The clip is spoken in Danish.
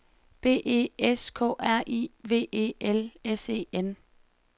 B E S K R I V E L S E N